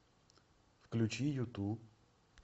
включи юту